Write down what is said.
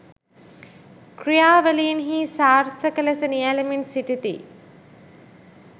ක්‍රියාවලින්හි සාර්ථක ලෙස නියැලෙමින් සිටිති